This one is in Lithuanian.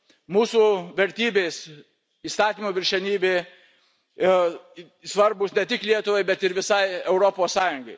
Mūsų vertybės, įstatymo viršenybė, svarbūs ne tik Lietuvai, bet ir visai Europos Sąjungai.